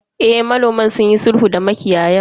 Eh, manoman sunyi sulhu da makiyayan.